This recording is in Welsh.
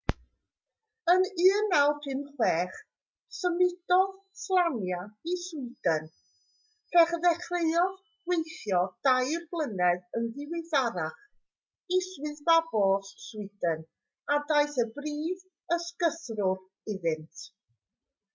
yn 1956 symudodd slania i sweden lle dechreuodd weithio dair blynedd yn ddiweddarach i swyddfa bost sweden a daeth yn brif ysgythrwr iddynt